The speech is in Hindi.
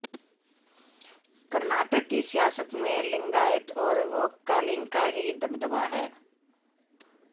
कर्नाटक की सियासत में लिंगायत और वोक्कालिंगा का ही दबदबा है